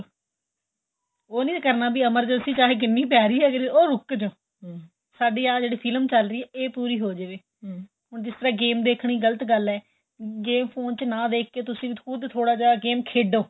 ਉਹ ਨਹੀਂ ਕਰਨਾ ਵੀ emergency ਚਾਹੇ ਜਿੰਨੀ ਮਰਜੀ ਪੇ ਰਹੀ ਏ ਉਹ ਰੁੱਖ ਜੋ ਸਾਡੀ ਆਂ ਜਿਹੜੀ ਫ਼ਿਲਮ ਚੱਲ ਰਹੀ ਏ ਏਹ ਜਿਹੜੀ ਪੂਰੀ ਹੋ ਜਾਵੇ ਹੁਣ ਜਿਸ ਤਰ੍ਹਾਂ game ਦੇਖਣਾ ਗ਼ਲਤ ਗੱਲ ਏ game ਫੋਨ ਚ ਨਾ ਦੇਖ ਕੇ ਤੁਸੀਂ ਖੁੱਦ ਥੋੜਾ ਜਾਂ game ਖੇਡੋ